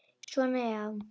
Svona, já.